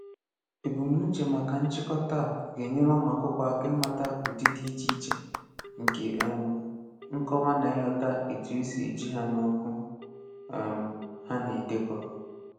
Ebumnuche maka nchịkọta a ga-enyere ụmụakwụkwọ aka ịmata ụdị dị iche iche nke um nkọwa na ịghọta etu e si eji ha n'okwu um ha na-edekọ